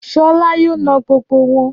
Ṣọlá yóò na gbogbo wọn